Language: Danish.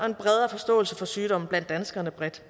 en bredere forståelse for sygdommen blandt danskerne bredt